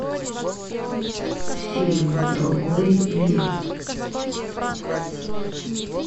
фильм другой мир